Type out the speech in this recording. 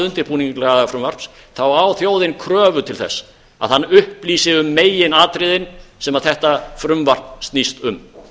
undirbúning lagafrumvarps þá á þjóðin kröfu til þess að hann upplýsi um meginatriðin sem þetta frumvarp snýst um